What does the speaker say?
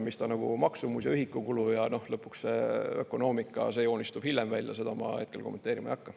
Mis ta maksumus ja ühikukulu on – lõpuks see ökonoomika joonistub hiljem välja, seda ma hetkel kommenteerima ei hakka.